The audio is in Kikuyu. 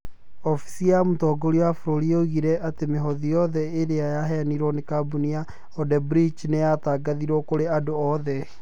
Ofisi ya mũtongoria wa bũrũri yoigire atĩ mĩhothi yothe ĩrĩa yaheanĩtwo nĩ kambuni ya Ode-brectch nĩ yatangathirwo kũrĩ andũ othe.